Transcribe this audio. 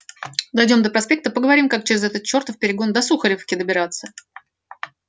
дойдём до проспекта поговорим как через этот чёртов перегон до сухаревки добираться